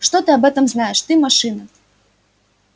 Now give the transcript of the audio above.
что ты об этом знаешь ты машина